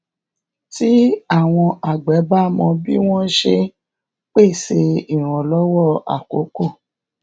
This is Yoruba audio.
tí àwọn àgbè bá mọ bí wón ṣe ń pèsè ìrànlówó àkókó